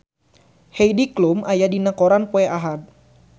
Heidi Klum aya dina koran poe Ahad